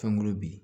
Fɛnkolo bi